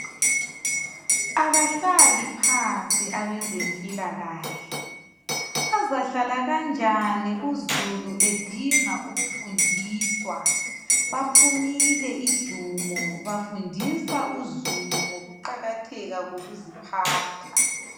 Abahlali phansi abezempilakahle. Bazahlala kanjani uzulu edinga ukufundiswa, baphumile ijumo bafundisa uzulu ngokuqakatheka kokuziphatha.